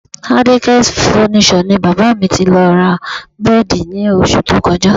Adekaz Furniture ni bàbá mi ti lọ ra bẹ́ẹ̀dì ní oṣù tó kọjá